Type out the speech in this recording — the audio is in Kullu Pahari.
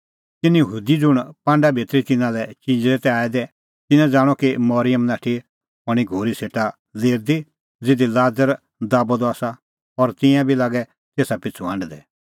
तिन्नैं यहूदी ज़ुंण पांडा भितरी तिन्नां लै चिंजदै तै आऐ दै तिन्नैं ज़ाणअ कि मरिअम नाठी हणीं घोरी सेटा लेरदी ज़िधी लाज़र दाबअ द आसा और तिंयां बी लागै तेसा पिछ़ू हांढदै